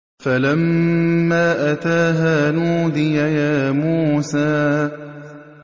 فَلَمَّا أَتَاهَا نُودِيَ يَا مُوسَىٰ